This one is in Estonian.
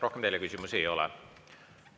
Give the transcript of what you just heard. Rohkem teile küsimusi ei ole.